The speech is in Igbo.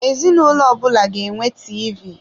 Ezinụlọ ọbụla ga enwe TV.